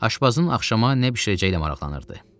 Aşpazın axşama nə bişirəcəyi ilə maraqlanırdı.